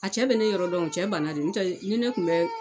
A cɛ bɛ ne yɔrɔ dɔn cɛ banna de n'o tɛ ni ne tun bɛ